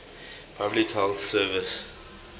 public health service